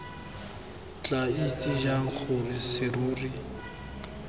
tla itse jang gore serori